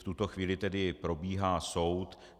V tuto chvíli tedy probíhá soud.